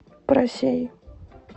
просей